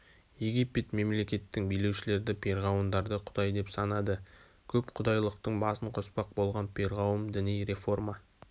египет мемлекеттің билеушілерді перғауындарды құдай деп санады көп құдайлықтың басын қоспақ болған перғауым діни реформа